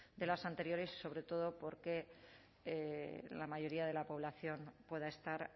de las anteriores sobre todo porque la mayoría de la población pueda estar